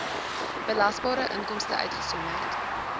belasbare inkomste uitgesonderd